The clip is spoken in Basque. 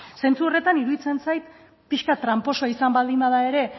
zentzu horretan iruditzen zait pixka bat tranposoa izan baldin bada ere